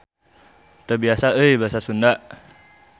Teu biasa euy Basa Sunda.